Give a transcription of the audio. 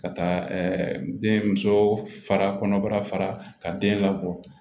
Ka taa den muso fa kɔnɔbara fara ka den labɔ